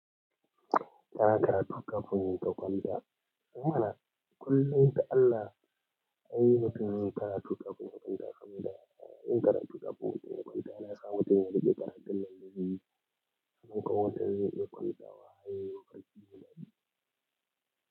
Karatu ƙafin yin ka kwanta. Ehmana kullum ta Allah ina yin karatu kafin in kwanta saboda yin karatu ƙafin mutum ya kwanta yana sa mutum ya riƙe karatun da akayi. Saboda wata yin takwalma waye lokacin muɗubi.